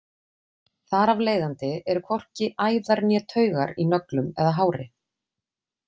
Þar af leiðandi eru hvorki æðar né taugar í nöglum eða hári.